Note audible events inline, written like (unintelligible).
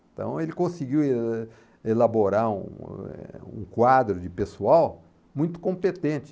Então ele conseguiu (unintelligible) elaborar (unintelligible) quadro de pessoal muito competente.